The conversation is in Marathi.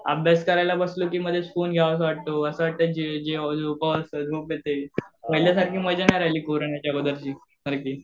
अभ्यास करायला बसलो की मध्येच, फोन घ्यावासा वाटतो, असं वाटतं पहिल्यासारखी मजा नाही राहिली कोरोनाच्या अगोदरची